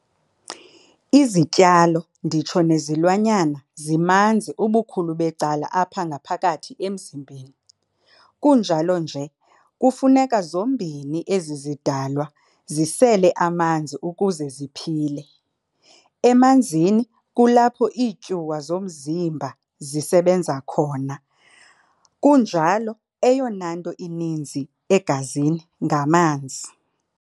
Izityalo nditsho nezilwanyana zimanzi ubukhulu becala apha ngaphakathi emizimbeni, kunjalo nje kufuneka zombini ezi zidalwa zisele amanzi ukuze ziphile. Emanzini kulapho iityuwa zomzimba zisebenza khona, kunjalo eyonanto ininzi egazini ngamanzi.